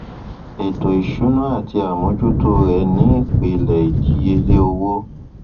ètò ìsúná àti àmójútó rẹ ni ìpìlẹ ìdíyelé owó